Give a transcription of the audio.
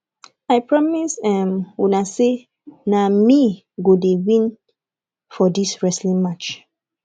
i promise um una sey na me wey go win for dis wrestling match